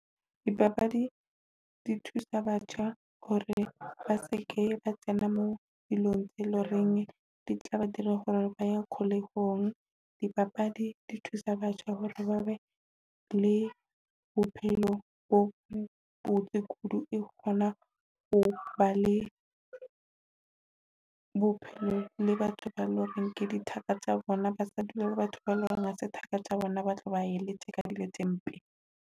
Dipapadi di thusa batjha hore ba se ke tsena mo dilong tse e loreng di tla ba dira hore ba ye kgolehong. Dipapadi di thusa batjha hore ba be le bophelo bo botse kudu. E kgona ho ba le bophelo le batho ba e leng hore ke dithaka tsa bona, ba sa dula batho ba e leng hore ha se thaka tsa bona, ba tlo ba e letsa ka dilo tse mpe.